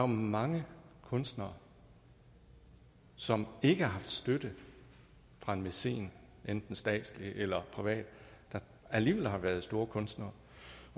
mange kunstnere som ikke har haft støtte fra en mæcen enten statslig eller privat der alligevel har været store kunstnere